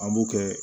An b'o kɛ